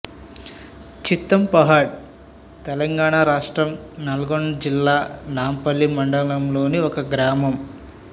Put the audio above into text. చిత్తంపహాడ్ తెలంగాణ రాష్ట్రం నల్గొండ జిల్లా నాంపల్లి మండలంలోని గ్రామం